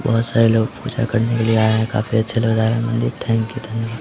बोहोत सारे लोग पूजा करने के लिये आए है काफी अच्छा लग रहा है मंदिर थेंकयू धन्यवाद।